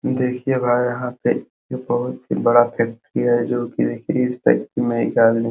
देखिये भाई यहाँ पे ये बहुत ही बड़ा फैक्ट्री है जो कि देखिये इस फैक्ट्री में एक आदमी --